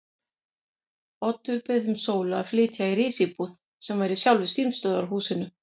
Oddur bauð þeim Sólu að flytja í risíbúð sem var í sjálfu símstöðvarhúsinu.